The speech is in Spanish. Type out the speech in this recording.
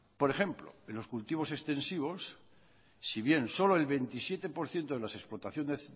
por ejemplo en los cultivos extensivos si bien solo el veintisiete por ciento de las explotaciones